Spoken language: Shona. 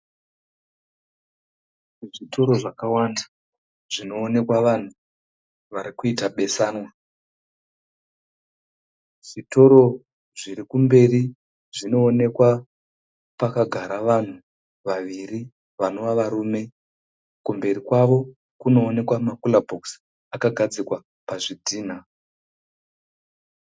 Zvitoro zwakawanda zvinoonekwa vanhu vari kuita besanwa. Zvitoro zviri kumberi zvinoonekwa pakagara vanhu vaviri vanova varume. Kumberi kwawo kunoonekwa makura bhokisi akagadzikwa pazvidhina.